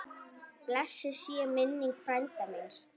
Blessuð sé minning frænda míns.